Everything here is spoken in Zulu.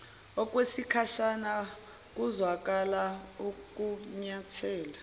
okwesikhashana kuzwakala ukunyathela